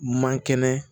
Man kɛnɛ